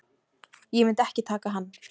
Ég myndi ekki taka hann.